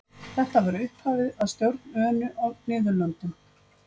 þetta var upphafið að stjórn önu á niðurlöndum